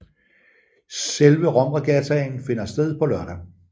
Selve romregattaen finder sted på lørdag